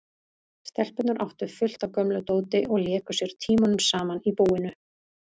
Stelpurnar áttu fullt af gömlu dóti og léku sér tímunum saman í búinu.